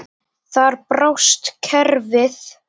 Þar brást kerfið.